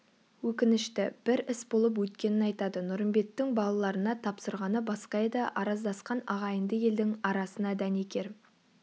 өкінішті бір іс болып өткенін айтады нұрымбеттің балаларына тапсырғаны басқа еді араздасқан ағайынды елдің арасына дәнекер